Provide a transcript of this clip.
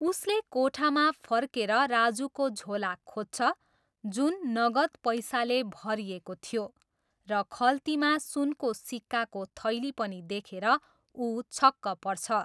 उसले कोठामा फर्केर राजुको झोला खोज्छ जुन नगद पैसाले भरिएको थियो, र खल्तीमा सुनको सिक्काको थैली पनि देखेर उ छक्क पर्छ।